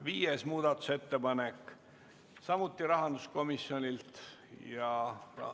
Viies muudatusettepanek on samuti rahanduskomisjonilt ja juhtivkomisjon on arvestanud seda täielikult.